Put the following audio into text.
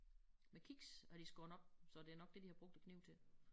Med kiks har de skåret op så det nok det de har brugt æ kniv til